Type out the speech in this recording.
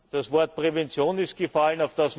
Das Wort Prävention ist gefallen.